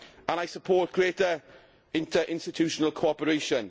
I support greater interinstitutional cooperation.